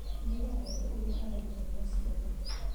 Nĩnyendete ũrĩa athaitagĩra ciana